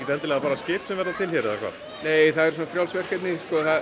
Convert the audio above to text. bara skip sem verða til hér eða hvað nei það eru svona frjáls verkefni